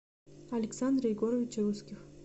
александра егоровича русских